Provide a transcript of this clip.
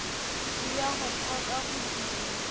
le ya ho phoka bodumo